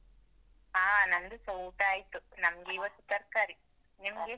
ಹಾ ನಂದುಸ ಊಟ ಆಯ್ತು. ನಮ್ಗೆ ಇವತ್ತು ತರ್ಕಾರಿ. ನಿಮ್ಗೆ?